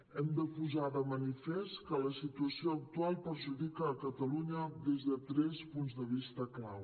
hem de posar de manifest que la situació actual perjudica catalunya des de tres punts de vista clau